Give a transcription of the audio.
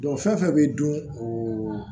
fɛn fɛn bɛ dun o